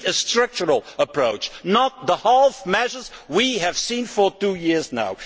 We need a structural approach, not the half measures we have seen for two years now.